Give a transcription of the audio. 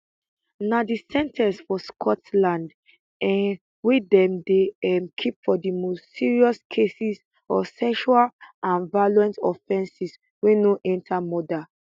na di sen ten ce for scotland um wey dem dey um keep for di most serious cases of sexual and violent offenses wey no enta murder